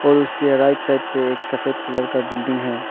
और उसके right side पे एक सफेद कलर का बिल्डिंग है।